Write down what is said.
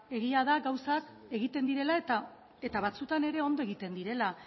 egia da gauzak egiten direla eta batzuetan ere ondo egiten direla